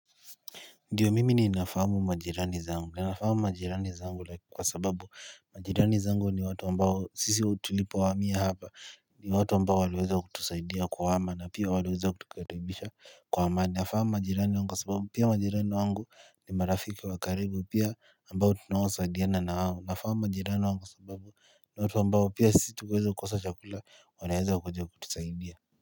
Ndiyo mimi ninafahamu majirani zangu. Ninafahamu majirani zangu kwa sababu majirani zangu ni watu ambao sisi tulipohamia hapa ni watu ambao wameweza kutusaidia kuhama na pia waliweza kutukaribisha kwa amani. Nafahamu majirani wangu kwa sababu pia majirani wangu ni marafiki wa karibu pia ambao tunaosaidiana na wao. Nafahamu majirani wangu sababu ni watu ambao pia sisi tukiweza kosa chakula wanaweza kuja kutusaidia.